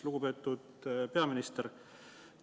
Lugupeetud peaminister!